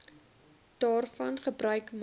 daarvan gebruik maak